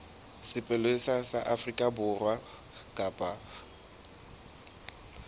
sepolesa sa afrika borwa kapa